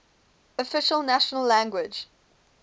official national language